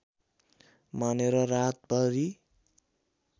मानेर रातभरि